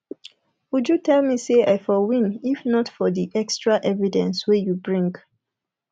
uju tell me say i for win if not for the extra evidence wey you bring